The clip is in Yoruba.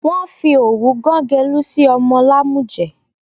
Wọ́n fi òwú gán gẹ̀lú sí ọmọ lámújẹ̀